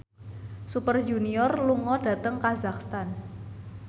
Super Junior lunga dhateng kazakhstan